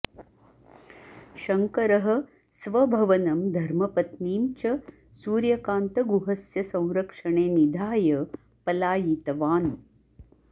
शङ्करः स्वभवनं धर्मपत्नीं च सूर्यकान्तगुहस्य संरक्षणे निधाय पलायितवान्